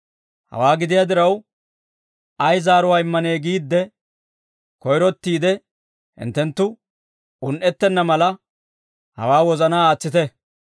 Hawaa gidiyaa diraw, ay zaaruwaa immanee giidde koyrottiide hinttenttu un"ettenna mala hawaa wozanaa aatsite.